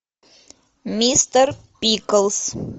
мистер пиклз